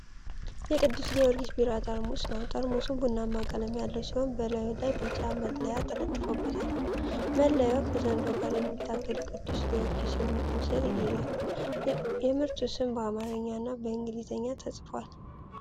የቅዱስ ጊዮርጊስ ቢራ ጠርሙስ ነው። ጠርሙሱ ቡናማ ቀለም ያለው ሲሆን በላዩ ላይ ቢጫ መለያ ተለጥፎበታል። መለያው ከዘንዶ ጋር የሚታገል ቅዱስ ጊዮርጊስን ምስል ይዟል። የምርቱ ስም በአማርኛ እና በእንግሊዝኛ ተጽፏል።